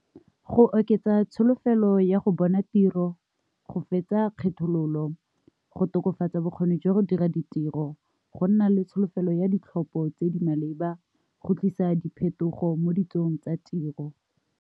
Go oketsa tsholofelo ya go bona tiro, go fetsa kgethololo, go tokafatsa bokgoni jwa go dira ditiro, go nna le tsholofelo ya ditlhopho tse di maleba, go tlisa diphetogo mo ditsong tsa tiro.